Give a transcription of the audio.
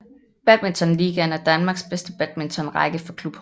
Badmintonligaen er Danmarks bedste badmintonrække for klubhold